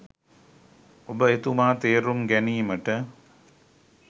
ඔබ එතුමා තේරුම් ගැනීමට